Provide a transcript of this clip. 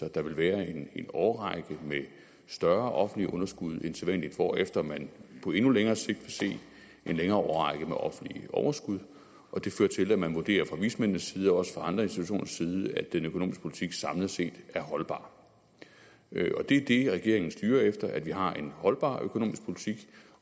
at der vil være en årrække med større offentlige underskud end sædvanligt hvorefter man på endnu længere sigt vil se en længere årrække med offentlige overskud og det fører til at man vurderer fra vismændenes side og også fra andre institutioners side at den økonomiske politik samlet set er holdbar det er det regeringen styrer efter at vi har en holdbar økonomisk politik